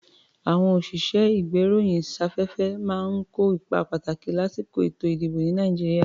À̀wọn òṣìṣẹ́-ìgbéròyìnsáfẹ́fẹ́ máa ń kó ipa pàtàkì lásìkò èto-ìdìbò, ní Nàìjíríà.